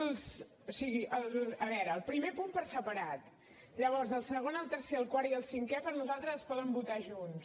o sigui a veure el primer punt per separat llavors el segon el tercer el quart i el cinquè per nosaltres es poden votar junts